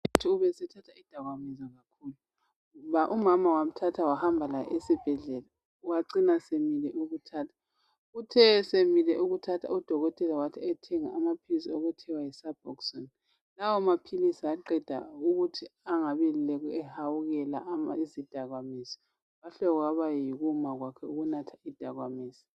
UDube ubesethatha izidakamizwa kakhulu, umama wamthatha wahamba laye esibhedlela wacina semile ukuthatha uthe esemile kuthatha uDokotela wathi ayethenga amaphilisi okuthiwa yi(Suboxone)lawa amaphilisi aqeda ukuthi angabi elokhu ehawukela izidakamizwa kwahle kwaba yikuma kwakhe ukunatha izidakamizwa.